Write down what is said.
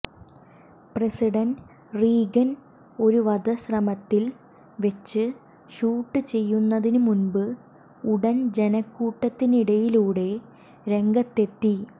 president Reagan ഒരു വധശ്രമത്തിൽ വെച്ച് ഷൂട്ട് ചെയ്യുന്നതിനുമുമ്പ് ഉടൻ ജനക്കൂട്ടത്തിനിടയിലൂടെ രംഗത്തെത്തി